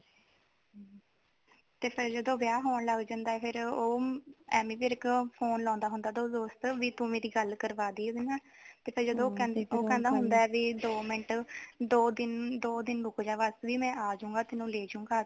ਤੇ ਜਦੋ ਵਿਆਹ ਹੋਣ ਲੱਗ ਜਾਂਦਾ ਏ ਫਿਰ ਉਹ ਐਮੀ ਵਿਰਕ ਫ਼ੋਨ ਲਾਉਦਾ ਹੁੰਦਾ ਉਹਦਾ ਦੋਸਤ ਵੀ ਤੂੰ ਮੇਰੀ ਗੱਲ ਕਰਵਾ ਦੀ ਉਹਦੇ ਨਾਲ ਤੇ ਫਿਰ ਜਦੋ ਉਹ ਕਹਿੰਦਾ ਹੁੰਦਾ ਹੁੰਦਾ ਵੀ ਦੋ ਮਿੰਟ ਦੋ ਦਿਨ ਵੀ ਦੋ ਦਿਨ ਰੁਕਜਾ ਬਸ ਵੀ ਮੈਂ ਆਜੂ ਗਾ ਤੈਨੂੰ ਲੇ ਜੂ ਗਾ